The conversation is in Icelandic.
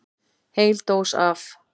Heil dós af